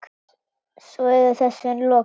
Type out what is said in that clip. Svo er þessu lokið?